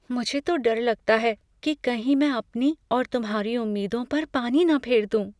मुझे तो डर लगता है कि कहीं मैं अपनी और तुम्हारी उम्मीदों पर पानी ना फेर दूं।